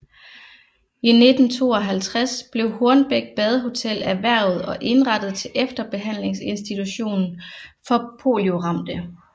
I 1952 blev Hornbæk Badehotel erhvervet og indrettet til efterbehandlingsinstitution for polioramte